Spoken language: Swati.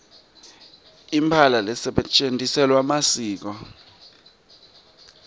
imphahla lesetjentisela masiko